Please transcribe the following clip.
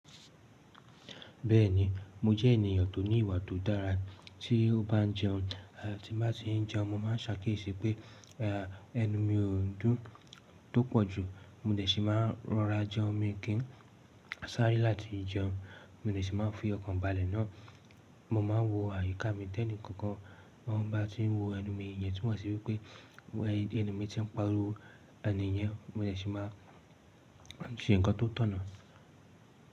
Bẹ́ẹ̀ni, mo jẹ́ ènìyàn tó ní ìwà tó dára. Tí ó bá ń jẹun, tí bá ti ń jẹun, mo má ń ṣakíesiì pé ẹnu mi ò n dùn tó pọ̀ jù. Mo dẹ̀ ṣi máa n rọra jẹun, mii kì n sáré láti jẹun, mo dẹ̀ ṣi máa n fi ọkàn balẹ̀ náà. Mo ma ń wo àyíká mi tẹ́ni kankan won bá ti ń wo ẹnu mi, ìyẹn túmọ̀ sí wípé ẹnuu mi ti ń pariwo, ẹni yẹn mo dẹ̀ ṣi máa ṣe ǹkan tó tọ̀nà.